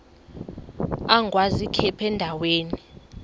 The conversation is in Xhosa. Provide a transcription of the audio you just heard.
agwaz ikhephu endaweni